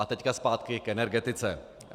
A teď zpátky k energetice.